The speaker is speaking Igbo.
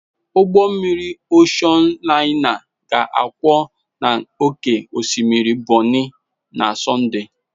ụgbọ mmiri Oshon laina ga-akwọ n'oké osimiri Bonny na Sọnde